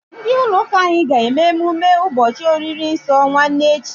Ndị ụlọ ụka anyị ga-eme mmemme ụbọchị oriri nsọ nwanne echi.